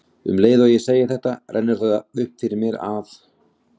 Um leið og ég segi þetta rennur það upp fyrir mér að